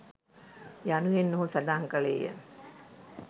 " යනුවෙන් ඔහු සඳහන් කළේය.